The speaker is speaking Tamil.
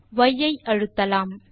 ய் ஐ அழுத்தலாம்